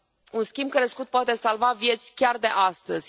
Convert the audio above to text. Un schimb crescut poate salva vieți chiar de astăzi.